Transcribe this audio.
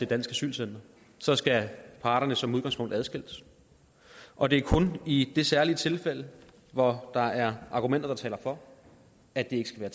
dansk asylcenter så skal parterne som udgangspunkt adskilles og det er kun i det særlige tilfælde hvor der er argumenter der taler for at det ikke skal være